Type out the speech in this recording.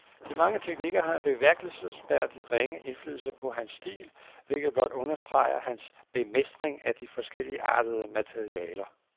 De mange teknikker har en bemærkelsesværdig ringe indflydelse på hans stil, hvilket blot understreger hans bemestring af de forskelligartede materialer.